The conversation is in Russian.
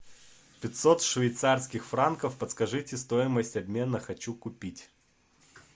пятьсот швейцарских франков подскажите стоимость обмена хочу купить